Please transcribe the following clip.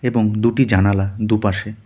এবং দুটি জানালা দুপাশে।